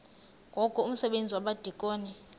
ngoku umsebenzi wabadikoni